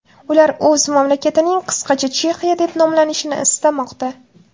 Ular o‘z mamlakatining qisqacha Chexiya deb nomlanishini istamoqda.